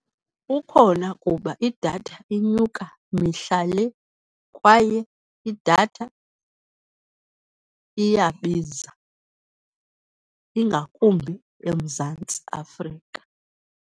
Ukhona kuba idatha inyuka mihla le kwaye idatha iyabiza, ingakumbi eMzantsi Afrika.